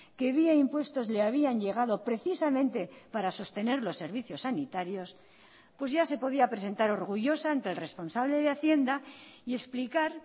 que vía impuestos le habían llegado precisamente para sostener los servicios sanitarios pues ya se podía presentar orgullosa ante el responsable de hacienda y explicar